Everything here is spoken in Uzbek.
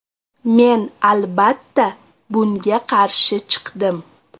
Men, albatta, bunga qarshi chiqdim.